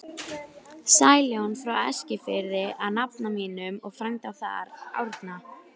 Sæljón frá Eskifirði af nafna mínum og frænda þar, Árna